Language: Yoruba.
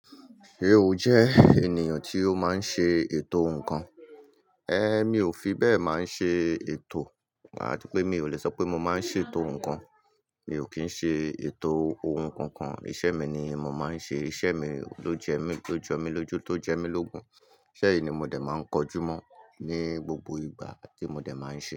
Ṣé o jẹ́ ènìyàn tí ó máa ń ṣe ètò ǹkan? Ẹ̀, mi ò fi bẹ́ẹ̀ máa ń ṣe ètò. Ati pé mi ò lè sọ pé mo máa ń ṣe ètò ǹkan. Mi ò kí ń ṣe ètò ohun kankan. Iṣẹ́ mi ni mo máa ń ṣe. Iṣẹ́ mi ló jẹ mí tó jọ mi lójú, tó jẹ mí l'ógun. Isẹ̀ yìí ni mo dẹ̀ máa ń kojú mọ́ ní gbogbo ìgbà tí mo dẹ̀ máa ń ṣe é.